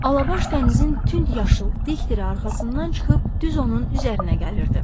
Alabaş dənizin tünd yaşıl dik dili arxasından çıxıb düz onun üzərinə gəlirdi.